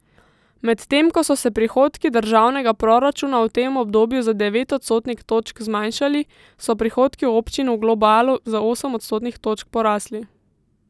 Medtem ko so se prihodki državnega proračuna v tem obdobju za devet odstotnih točk zmanjšali, so prihodki občin v globalu za osem odstotnih točk porasli.